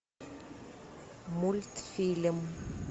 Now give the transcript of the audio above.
мультфильм